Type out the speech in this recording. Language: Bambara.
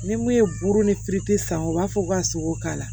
Ni mun ye buru ni fe san u b'a fɔ k'u ka sogo k'a la